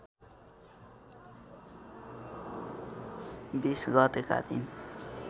२० गतेका दिन